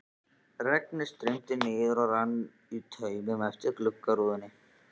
Regnið streymdi niður og rann í taumum eftir gluggarúðunni.